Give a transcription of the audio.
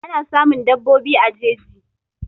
Ana samun daɓobi a jeji